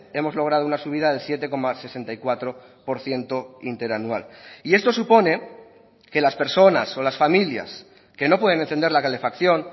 hemos logrado una subida del siete coma sesenta y cuatro por ciento interanual y esto supone que las personas o las familias que no pueden encender la calefacción